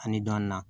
Ani dɔni na